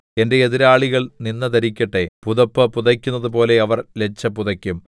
എന്റെ എതിരാളികൾ നിന്ദ ധരിക്കട്ടെ പുതപ്പ് പുതയ്ക്കുന്നതു പോലെ അവർ ലജ്ജ പുതയ്ക്കും